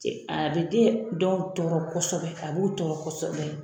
A bɛ den dɔw tɔɔrɔ kosɛbɛ a b'u tɔɔrɔ kosɛbɛ